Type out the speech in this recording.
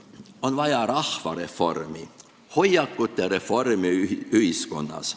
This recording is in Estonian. On vaja rahvareformi, hoiakute reformi ühiskonnas.